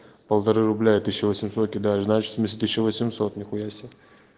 полторы рубля и тысяча восемьсот кидаешь значит в смысле тысяча восемьсот нихуя себе